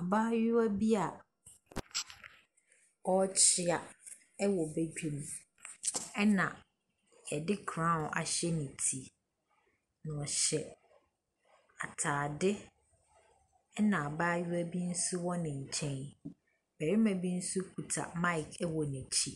Abaayewa bia ɔrekyea wɔ bedwam ɛna yɛde crown ahyɛ ne ti. Na ɔhyɛ ataade ɛna abayewaa bi nso ɛwɔ ne nkyɛn. Barima bi nso kuta mike wɔ n'akyi.